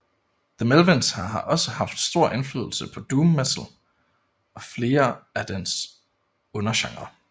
The Melvins har også haft stor indflydelse på doom metal og flere af dens undergenrer